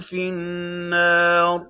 فِي النَّارِ